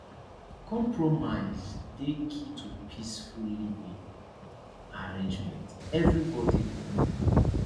compromise dey key to peaceful living arrangements everybody go win